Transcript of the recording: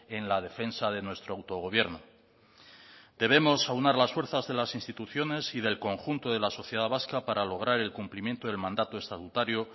en la defensa de nuestro autogobierno debemos aunar las fuerzas de las instituciones y del conjunto de la sociedad vasca para lograr el cumplimiento del mandato estatutario